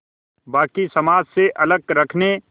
बाक़ी समाज से अलग रखने